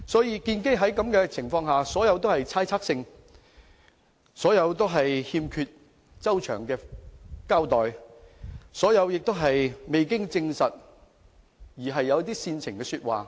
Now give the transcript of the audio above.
因此，這些純屬猜測，欠缺周詳的交代，是未經證實而旨在煽情的說話。